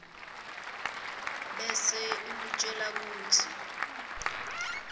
bese ikutjela kutsi